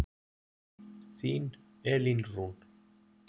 Þín Elín Rún.